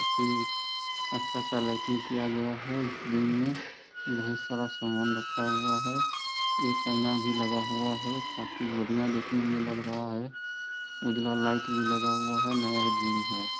ये अच्छा सा लाइटिंग किया गया है| इस रिंग में ढेर सारा सामन रखा हुआ है| एक आइना भी लगा हुआ है | काफी बढ़िया दिखने में लग रहा है | उजला लाइट भी लगा हुआ है नया जिम है।